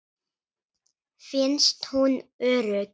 Finnst hún örugg.